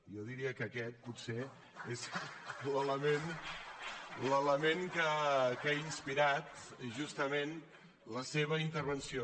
jo diria que aquest potser és l’element que ha inspirat justament la seva intervenció